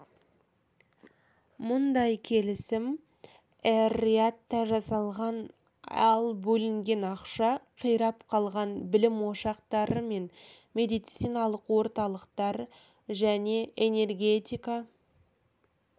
мұндай келісім эр-риядта жасалған ал бөлінген ақша қирап қалған білім ошақтары мен медициналық орталықтар және энергетика